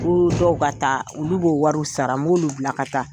U dɔw ka taa olu b'o wari wsara n b'olu bila ka taa.